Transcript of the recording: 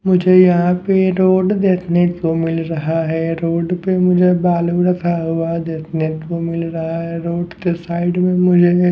मुझे यहाँ पे रोड देखने को मिल रहा है रोड पे मुझे बालू रखा हुआ देखने को मिल रहा है रोड के साइड में मुझे --